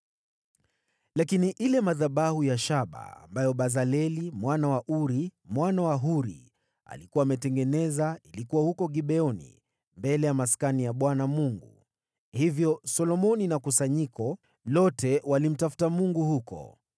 Lakini yale madhabahu ya shaba ambayo Bezaleli mwana wa Uri, mwana wa Huri, alikuwa ametengeneza yalikuwa huko Gibeoni mbele ya Maskani ya Bwana Mungu, hivyo Solomoni na kusanyiko lote walimtafuta Mungu huko.